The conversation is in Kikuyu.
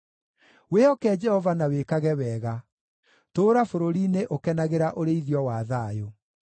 Wĩhoke Jehova na wĩkage wega; tũũra bũrũri-inĩ ũkenagĩra ũrĩithio wa thayũ.